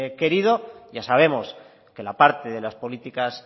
querido ya sabemos que la parte de las políticas